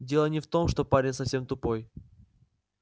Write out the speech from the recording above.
дело не в том что парень совсем тупой